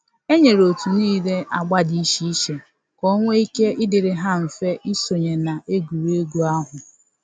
E nyere otu niile agba dị iche iche ka o nwe ike ịdịrị ha mfe isonye na egwuregwu ahụ.